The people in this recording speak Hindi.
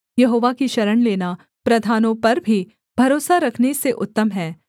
यहोवा की शरण लेना प्रधानों पर भी भरोसा रखने से उत्तम है